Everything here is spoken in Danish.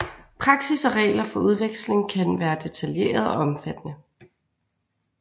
Praksis og regler for udveksling kan være detaljerede og omfattende